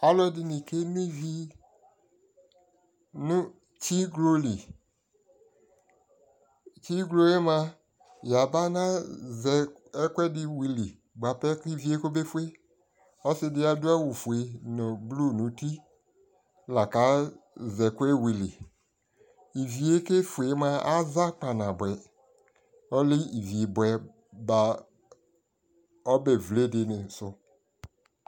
alʋɛdini kɛnɔ ivi nʋ tsiglɔ li, tsiglɔɛ mʋa, yaba nazɛ ɛkʋɛdi wili bʋabɛ kʋ iviɛ kɔbɛ ƒʋɛ, ɔsiidi adʋ awʋ ƒʋɛ nʋ blue nʋ ʋti lakʋazɛ ɛkʋɛ wili, iviɛ kɛ ƒʋɛ mʋa aza kpa nabʋɛ, ɔlɛ ivi bʋɛ ba ɔbɛ vlè dini sʋ s